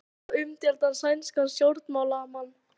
Ráðist á umdeildan sænskan stjórnmálamann